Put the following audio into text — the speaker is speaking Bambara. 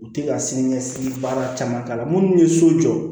U tɛ ka siniɲɛsigi baara caman k'a la minnu ye so jɔ